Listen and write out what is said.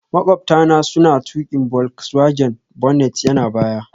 Maƙwabta na suna tuƙi volkswagen, bonnet yana baya